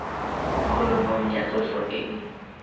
kholomong ya tloso e e